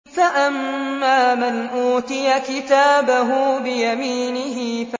فَأَمَّا مَنْ أُوتِيَ كِتَابَهُ بِيَمِينِهِ